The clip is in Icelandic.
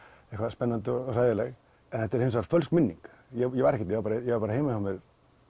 spennandi og hræðileg en þetta er fölsk minning ég var bara heima hjá mér